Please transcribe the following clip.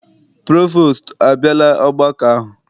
Provostu abịala ọgbakọ ahụ?